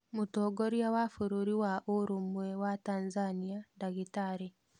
Mũtongoria wa bũrũri wa ũrũmwe wa Tanzania ndagĩtarĩ.